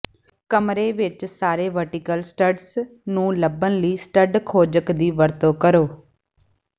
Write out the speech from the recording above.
ਕਮਰੇ ਵਿੱਚ ਸਾਰੇ ਵਰਟੀਕਲ ਸਟੱਡਸ ਨੂੰ ਲੱਭਣ ਲਈ ਸਟਡ ਖੋਜਕ ਦੀ ਵਰਤੋਂ ਕਰੋ